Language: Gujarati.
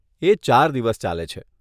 એ ચાર દિવસ ચાલે છે.